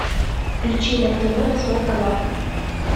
включи на тв восьмой канал